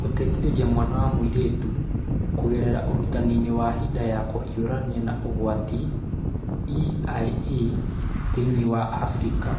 Gũteithĩrĩria mwana wa mũirĩtu kũgerera Ũrutani wa hĩndĩ ya kũhiũrania na ũgwati (EiE) thĩinĩ wa Afrika.